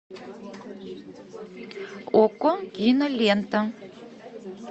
окко кинолента